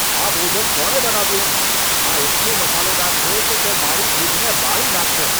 આ ભોજન કોણે બનાવ્યું? આ એટલું મસાલેદાર છે કે તે મારી જીભને બાળી નાખશે.